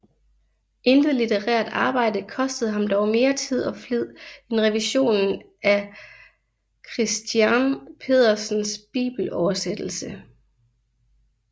Intet litterært arbejde kostede ham dog mere tid og flid end revisionen af Christiern Pedersens bibeloversættelse